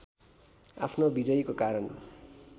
आफ्नो विजयीको कारण